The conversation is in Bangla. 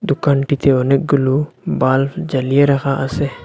দুকানটিতে অনেকগুলো বাল্ব জ্বালিয়ে রাখা আসে।